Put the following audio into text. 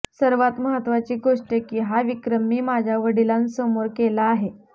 सर्वात महत्त्वाची गोष्ट की हा विक्रम मी माझ्या वडिलांसमोर केला आहे